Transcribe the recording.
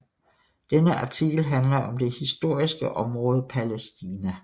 Denne artikel handler om det historiske område Palæstina